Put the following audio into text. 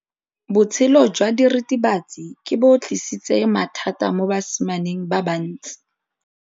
Botshelo jwa diritibatsi ke bo tlisitse mathata mo basimaneng ba bantsi.